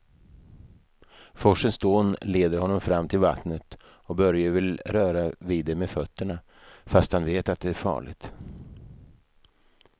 Forsens dån leder honom fram till vattnet och Börje vill röra vid det med fötterna, fast han vet att det är farligt.